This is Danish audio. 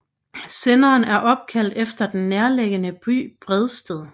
Senderen er opkaldt efter den nærliggende by Bredsted